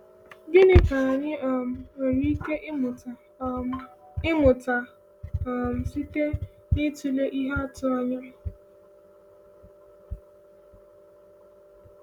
“Gịnị ka anyị um nwere ike ịmụta um ịmụta um site n’ịtụle ihe atụ ya?” um